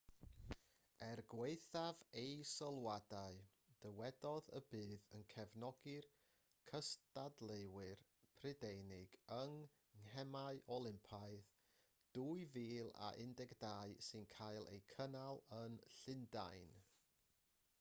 er gwaethaf ei sylwadau dywedodd y bydd yn cefnogi'r cystadleuwyr prydeinig yng ngemau olympaidd 2012 sy'n cael eu cynnal yn llundain